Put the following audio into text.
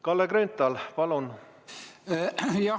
Kalle Grünthal, palun!